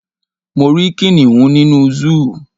Mo rí kìnìún nínú Zúù